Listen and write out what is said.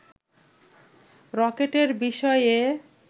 রকেটের বিষয়ে